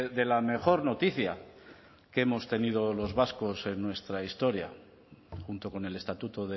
de la mejor noticia que hemos tenido los vascos en nuestra historia junto con el estatuto